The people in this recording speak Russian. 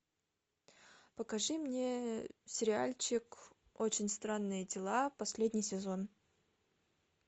покажи мне сериальчик очень странные дела последний сезон